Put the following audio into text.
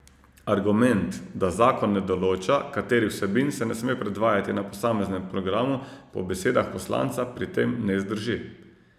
Argument, da zakon ne določa, katerih vsebin se ne sme predvajati na posameznem programu, po besedah poslanca pri tem ne zdrži.